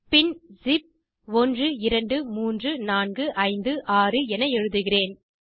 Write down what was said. pinஸிப் 123456 என எழுதுகிறேன்